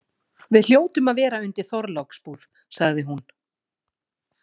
Við hljótum að vera undir Þorláksbúð, sagði hún.